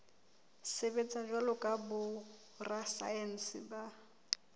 sebetsa jwalo ka borasaense ba